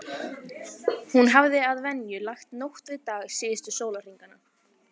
Hún hafði að venju lagt nótt við dag síðustu sólarhringana.